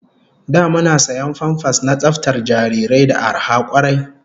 Da muna sayan famfas na tsaftar jarirai da arha kwarai